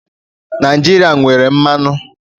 Naijiria nwere mmanụ.